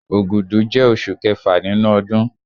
Ògùdù jẹ́ osù kẹfà nínú ọdún